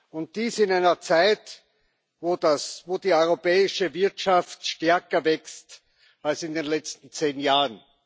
Und dies in einer Zeit, wo die europäische Wirtschaft stärker wächst als in den letzten zehn Jahren.